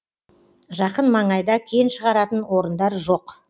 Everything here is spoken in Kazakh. жақын маңайда кен шығаратын орындар жоқ